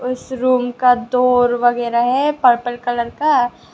इस रूम का दोर वगैरा है पर्पल कलर का।